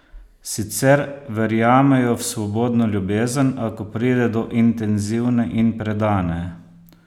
Sicer verjamejo v svobodno ljubezen, a ko pride do intenzivne in predane?